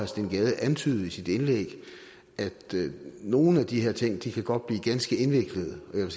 steen gade antydede i sit indlæg at nogle af de her ting godt kan blive ganske indviklede og jeg